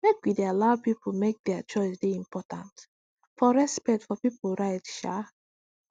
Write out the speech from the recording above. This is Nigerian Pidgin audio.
make we dey allow pipu make dier choice dey important for respect for pipu right um